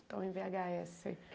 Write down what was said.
estãoo em vê agá esse